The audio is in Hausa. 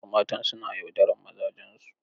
Wasu matan suna yaudarar mazajensu.